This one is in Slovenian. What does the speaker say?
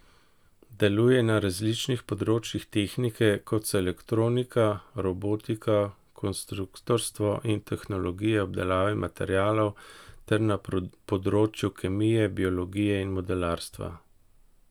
Deluje na različnih področjih tehnike, kot so elektronika, robotika, konstruktorstvo in tehnologije obdelave materialov, ter na področju kemije, biologije in modelarstva.